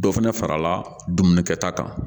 Dɔ fana farala dumuni kɛta kan